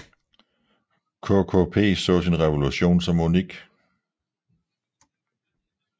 KKP så sin revolution som unik